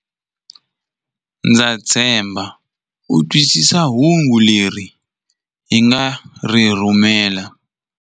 Ndza tshemba u twisisa hungu leri hi nga ri rhumela.